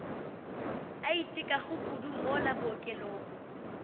a itekago kudu mola bookelong